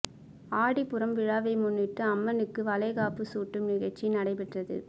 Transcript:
ஆடிப்பூரம் விழாவை முன்னிட்டு அம்மனுக்கு வளைகாப்பு சூட்டும் நிகழ்ச்சி நடைபெற்றது